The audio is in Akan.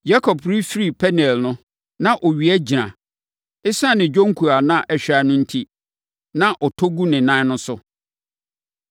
Yakob refiri Peniel no na owia agyina. Esiane ne dwonku a na ahwan no enti, na ɔtɔ gu ne nan no so.